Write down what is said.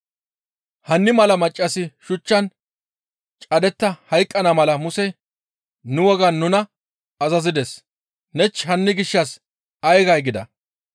Hanni mala maccassi shuchchan cadetta hayqqana mala Musey nu wogaan nuna azazides; nenich hanni gishshas ay gay?» gida.